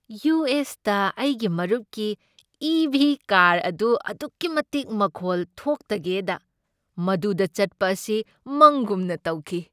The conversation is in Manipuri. ꯌꯨ. ꯑꯦꯁ. ꯇ ꯑꯩꯒꯤ ꯃꯔꯨꯞꯀꯤ ꯏ. ꯚꯤ. ꯀꯥꯔ ꯑꯗꯨ ꯑꯗꯨꯛꯀꯤ ꯃꯇꯤꯛ ꯃꯈꯣꯜ ꯊꯣꯛꯇꯒꯦꯗ ꯃꯗꯨꯗ ꯆꯠꯄ ꯑꯁꯤ ꯃꯪꯒꯨꯝꯅ ꯇꯧꯈꯤ꯫